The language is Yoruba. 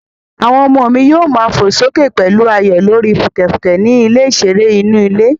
Àwọn ọmọ mi yóò má fò sókè pẹ̀lú ayọ̀ lórí fùkẹ̀fùkẹ̀ ní ilẹ̀ ìṣeré inú ilé